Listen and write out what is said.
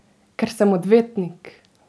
Ker sem odvetnik!